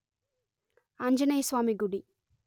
ఆంజనేయ స్వామి గుడి